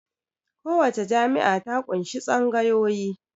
Kowace jami'a ta ƙunshi tsangayoyi